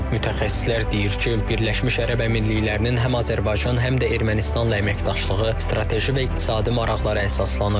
Mütəxəssislər deyir ki, Birləşmiş Ərəb Əmirliklərinin həm Azərbaycan, həm də Ermənistanla əməkdaşlığı strateji və iqtisadi maraqlara əsaslanır.